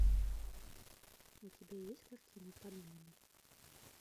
у тебя есть картина подмена